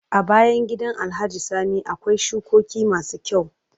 A bayan gidan alhaji sani akwai shukoki masu kyau